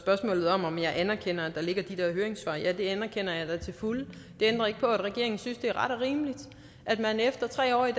spørgsmålet om om jeg anerkender at der ligger de der høringssvar at ja det anerkender jeg da til fulde det ændrer ikke på at regeringen synes det er ret og rimeligt at man efter tre år i